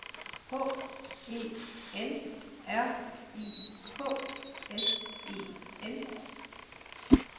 H E N R I K S E N